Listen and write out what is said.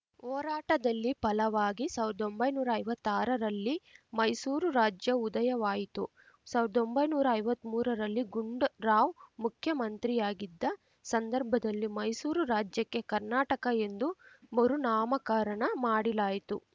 ಹೋರಾಟದಲ್ಲಿ ಫಲವಾಗಿ ಸಾವ್ರ್ದೊಂಬೈನೂರಾ ಐವತ್ತಾರರಲ್ಲಿ ಮೈಸೂರು ರಾಜ್ಯ ಉದಯವಾಯಿತು ಸಾವ್ರ್ದೊಂಬೈನೂರಾ ಐವತ್ಮೂರರಲ್ಲಿ ಗುಂಡ್ ರಾವ್‌ ಮುಖ್ಯಮಂತ್ರಿಯಾಗಿದ್ದ ಸಂದರ್ಭದಲ್ಲಿ ಮೈಸೂರು ರಾಜ್ಯಕ್ಕೆ ಕರ್ನಾಟಕ ಎಂದು ಮರು ನಾಮಕರಣ ಮಾಡಿಲಾಯಿತು